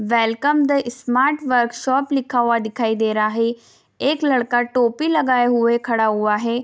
Welcome the smart workshop लिखा हुआ दिखाई दे रहा है एक लड़का का टोपी लगाया हुए खड़ा हुआ है।